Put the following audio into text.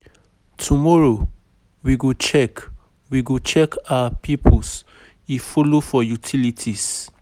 Tomorrow, we go check we go check our pipes, e folo for utilities management.